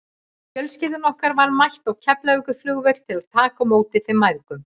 Fjölskylda okkar var mætt á Keflavíkurflugvöll til að taka á móti þeim mæðgum.